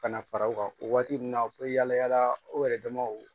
Ka na fara u kan o waati ninnu na u bɛ yala yala u yɛrɛ damaw